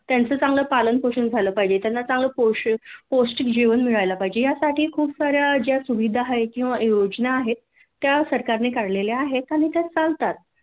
त्यांच चांगल पालन पोषण झालं पाहिजे त्यांना चांगल पोष पोष्टिक जेवण मिळाल पाहिजे यासाठी खूप सा-या ज्या सुविधा आहेत किंवा योजना आहेत त्या सरकारने काढलेल्या आहेत आणि त्या चालतात